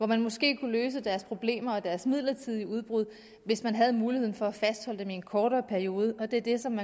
man måske kunne løse deres problemer og deres midlertidige udbrud hvis man havde muligheden for at fastholde dem i en kortere periode og det er det som